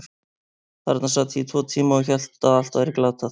Þarna sat ég í tvo tíma og hélt að allt væri glatað.